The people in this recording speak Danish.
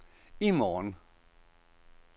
i morgen